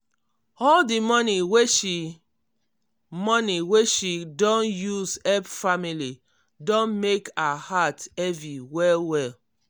all di money wey she money wey she don use help family don mek her heart heavy well-well.